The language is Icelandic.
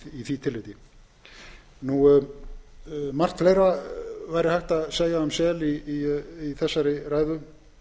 laga í því tillit margt fleira væri hægt að segja um sel í þessari ræðu